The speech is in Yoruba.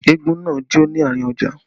Eégún náà jó ní àárín ọjà